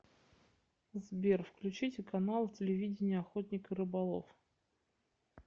сбер включите канал телевидения охотник и рыболов